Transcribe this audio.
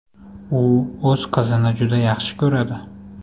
U o‘z qizini juda yaxshi ko‘radi”.